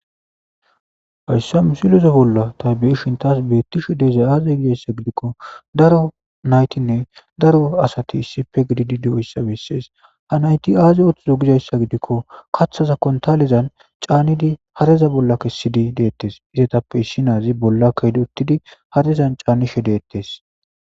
hayssa misileze bolla ta be7ishin taas beettishe de7izay aaze gidayssa gidikko daro naytinne daro asati issipe gididi di7o hissa bessees ha nayti aaziy oththuzo gidayssa gidikko kaththaza kontalezan caanidi hareza bolla kessidi deettes izetappe issi naazi bolla kaydi uttidi harezan caanishe deettes